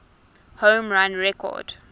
home run record